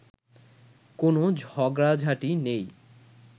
কোনো ঝগড়াঝাঁটি নেই